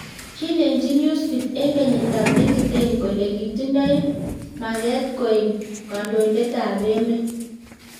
kilenji newsbeat eng kienyit ab 2010 kole kitindoe makee koek kondoinet ab emet